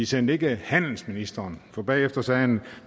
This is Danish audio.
sendte ikke handelsministeren og bagefter sagde han